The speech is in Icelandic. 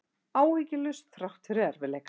Áhyggjulaus þrátt fyrir erfiðleika